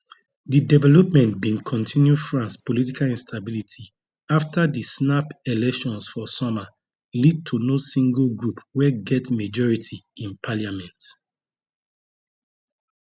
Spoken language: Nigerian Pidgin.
di development bin continue france political instability afta di snap elections for summer lead to no single group wey get majority in parliament